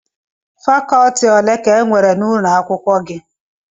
Fakọtị ole ka enwere n'ụlọ akwụkwọ gị?